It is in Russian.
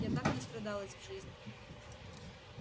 я так настрадалась в жизни